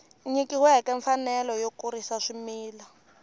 nyikiweke mfanelo yo kurisa swimila